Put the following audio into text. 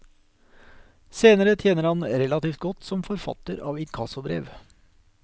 Senere tjener han relativt godt som forfatter av inkassobrev.